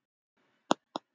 Hvað er hún að spá?